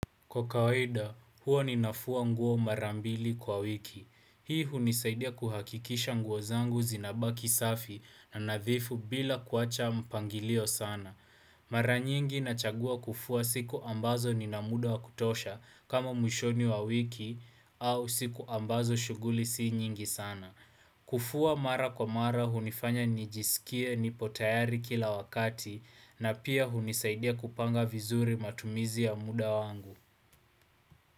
Kwa kawaida, huwa ninafua nguo mara mbili kwa wiki. Hii hunisaidia kuhakikisha nguo zangu zinabaki safi na nadhifu bila kuacha mpangilio sana. Mara nyingi nachagua kufua siku ambazo nina muda wa kutosha kama mwishoni wa wiki au siku ambazo shughuli si nyingi sana. Kufua mara kwa mara hunifanya nijisikie nipo tayari kila wakati na pia hunisaidia kupanga vizuri matumizi ya muda wangu.